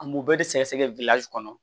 An m'o bɛɛ de sɛgɛsɛgɛ kɔnɔ